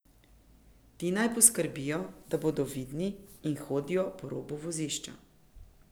Ti naj poskrbijo, da bodo vidni in hodijo ob robu vozišča.